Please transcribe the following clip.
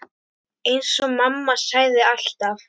Eins og mamma sagði alltaf.